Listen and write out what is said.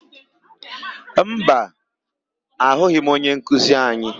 Mba, ahụghị m onyenkuzi anyị.